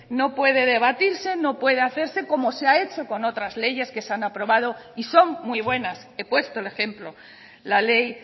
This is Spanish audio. no puede debatirse no puede hacerse como se ha hecho con otras leyes que se han aprobado y son muy buenas he puesto el ejemplo la ley